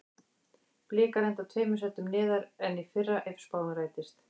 Blikar enda tveimur sætum neðar en í fyrra ef spáin rætist.